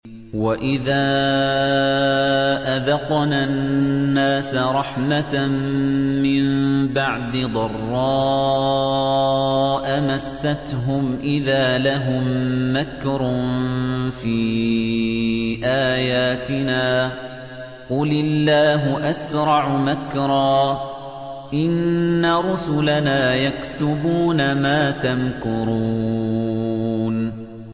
وَإِذَا أَذَقْنَا النَّاسَ رَحْمَةً مِّن بَعْدِ ضَرَّاءَ مَسَّتْهُمْ إِذَا لَهُم مَّكْرٌ فِي آيَاتِنَا ۚ قُلِ اللَّهُ أَسْرَعُ مَكْرًا ۚ إِنَّ رُسُلَنَا يَكْتُبُونَ مَا تَمْكُرُونَ